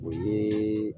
O ye